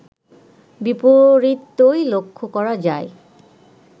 বিপরীতই লক্ষ করা যায়